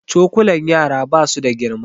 Cokulan yara ba su da girma